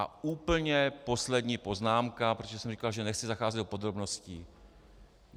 A úplně poslední poznámka, protože jsem říkal, že nechci zacházet do podrobností.